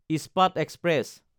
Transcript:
ইস্পাত এক্সপ্ৰেছ